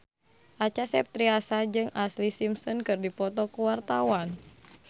Acha Septriasa jeung Ashlee Simpson keur dipoto ku wartawan